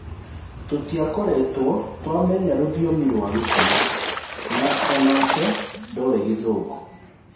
Tũtiakoretwo twamenya rũthiomi rwa Gĩkũyũ, na o nake ndoĩ Gĩthũngũ.